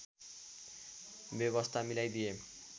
व्यवस्था मिलाइदिए